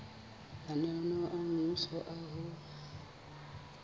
mananeo a mmuso a ho